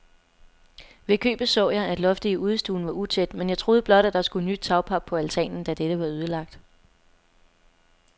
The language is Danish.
Ved købet så jeg, at loftet i udestuen var utæt, men jeg troede blot, at der skulle nyt tagpap på altanen, da dette var ødelagt.